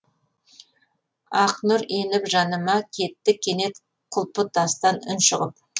ақ нұр еніп жаныма кетті кенет құлпытастан үн шығып